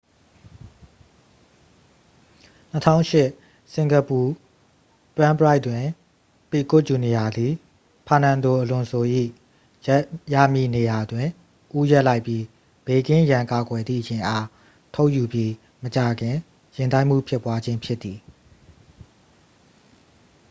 2008 စင်ကာပူ ဂရန်းပရိုက်တွင် ပီကွတ် ဂျူနီယာသည် ဖာနန်ဒိုအလွန်ဆို၏ ရပ်ရမည့်နေရာတွင် ဦးရပ်လိုက်ပြီး ဘေးကင်းရန်ကာကွယ်သည့် ယာဉ်အား ထုတ်ယူပြီးမကြာခင် ယာဉ်တိုက်မှုဖြစ်ပွားခြင်း ဖြစ်သည်